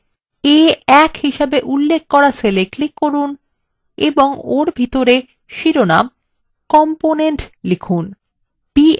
এখনই a1 হিসেবে উল্লেখ করা cell click করুন এবং ওর ভিতরে শিরোনাম component লিখুন